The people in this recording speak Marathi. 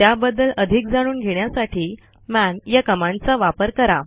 त्याबद्दल अधिक जाणून घेण्यासाठी मन या कमांडचा वापरा